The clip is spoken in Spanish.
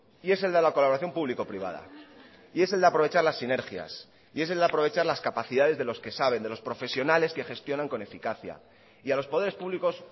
y es el de la colaboración público privada y es el de aprovechar las sinergias y es el de aprovechar las capacidades de los que saben de los profesionales que gestionan con eficacia y a los poderes públicos